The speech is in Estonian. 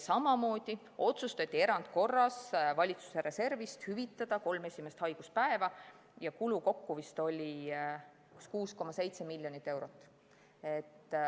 Samamoodi otsustati erandkorras valitsuse reservist hüvitada kolm esimest haiguspäeva, selleks kulus kokku vist 6,7 miljonit eurot.